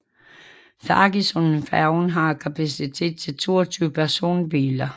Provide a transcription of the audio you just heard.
Feggesundfærgen har kapacitet til 22 personbiler